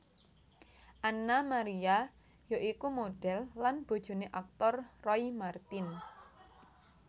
Anna Maria ya iku modhel lan bojoné aktor Roy Marten